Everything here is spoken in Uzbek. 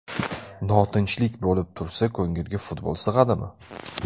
Notinchlik bo‘lib tursa, ko‘ngilga futbol sig‘adimi?